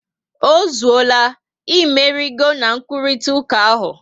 Ozuola, imeligo na nruritauka ahụ